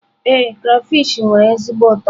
Ee, crayfish nwere ezigbo ụtọ.